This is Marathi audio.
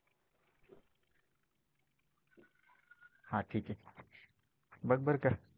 हा ठीके, बघ बरं का